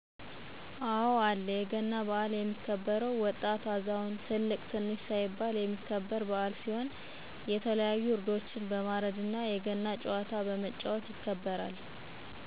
አወ አለ የገና በሀል የሚከበውም ወጣት አዛውንት ትልቅ ትንሽ ሳይባል የሚከበረ በዓል ሲሆን የተለያዩ ዕረዶችን በማርድ እነ የገና ጨዋታ በመጫወት ይከበራል።